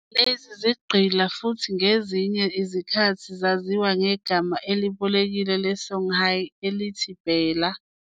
Lezi zigqila futhi ngezinye izikhathi zaziwa ngegama elibolekiwe le-Songhay elithi Bella.